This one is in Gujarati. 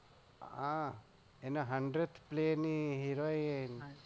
હા એને hundred play heroin